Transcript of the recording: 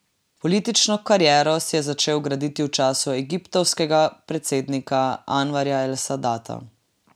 Politično kariero si je začel graditi v času egiptovskega predsednika Anvarja el Sadata.